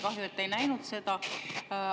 Kahju, et te ei näinud seda.